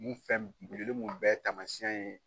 Mun fɛn min mun bɛɛ taamasiyɛn ye